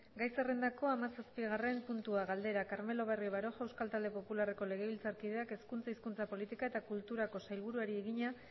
gai zerrendako hamazazpigarren puntua galdera carmelo barrio baroja euskal talde popularreko legebiltzarkideak hezkuntza hizkuntza politika eta kulturako sailburuari egina